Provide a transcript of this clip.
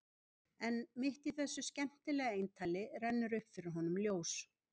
En mitt í þessu skemmtilega eintali rennur upp fyrir honum ljós.